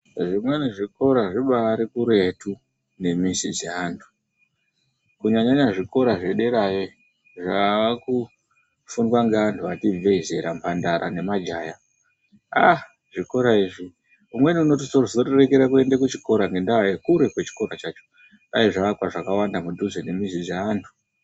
Zvimweni zvikora zvibaari kuretu nemizi dzeanthu kunyanyanya zvikora zvederayo zvaakufundwa ngeanthu ati ibvei zera mhandara nemajaha ah!, zvikora izvi umweni unozorekere kuende kuchikora ngekuite kure kwechikora chacho. Dai zvakwa zvakawanda mudhuze nemizi dzeanthu.